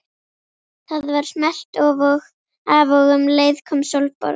Það var smellt af og um leið kom Sólborg